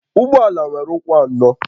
Ụgbọ ala nwere ụkwụ anọ